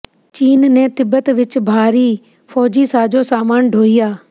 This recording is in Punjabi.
ਚੀਨ ਨੇ ਤਿੱਬਤ ਵਿੱਚ ਭਾਰੀ ਫ਼ੌਜੀ ਸਾਜ਼ੋ ਸਾਮਾਨ ਢੋਹਿਆ